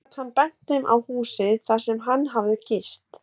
Þó gat hann bent þeim á húsið, þar sem hann hafði gist.